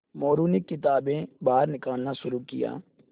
मोरू ने किताबें बाहर निकालना शुरू किया